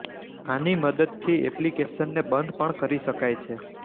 આની મદદથી એપ્લિકેશનને બંધ પણ કરી શકાય છે